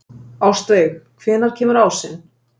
Ástveig, hvenær kemur ásinn?